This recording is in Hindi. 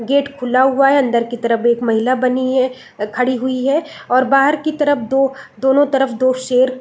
गेट खुला हुआ है अंदर की तरफ एक महिला बनी है खड़ी हुई है और बाहर की तरफ दो दोनों तरफ दो शेर--